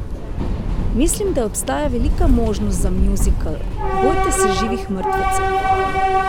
Mislim, da obstaja velika možnost za muzikal Bojte se živih mrtvecev!